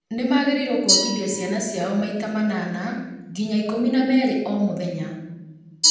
nĩ magĩrĩirũo kuongithia ciana ciao maita manana nginya ikũmi na merĩ o mũthenya,